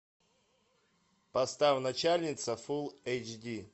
поставь начальница фул эйч ди